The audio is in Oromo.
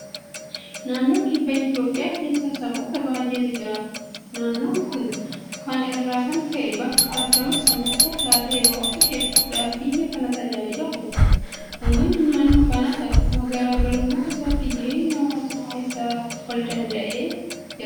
Naannoo kibba Itoophiyaa keessa saboota baay'eetu jiraata. Naannoon kun kana irraa kan ka'e bakka argama sabootaa taatee baroota hedduudhaaf biyya kana tajaajilaa turte. Uummanni naannoo kanaas akkuma garaa garummaa isaatti jireenya hawaasummaa isaa waldanda'ee adeemsifachaa har'a gahe.